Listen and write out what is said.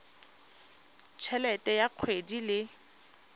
t helete ya kgwedi le